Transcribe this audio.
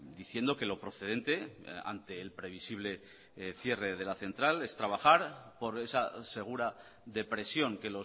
diciendo que lo procedente ante el previsible cierre de la central es trabajar por esa segura depresión que